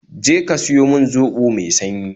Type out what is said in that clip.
Je ka siyo min zobo mai sanyi